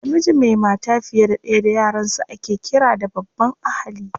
Namiji mai mata fiye da ɗaya da yaransu ake ƙira da babban ahali.